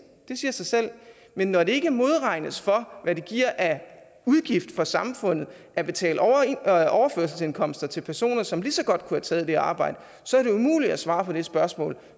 det siger sig selv men når det ikke modregnes for hvad det giver af udgift for samfundet at betale overførselsindkomster til personer som lige så godt kunne have taget det arbejde så er det umuligt at svare på det spørgsmål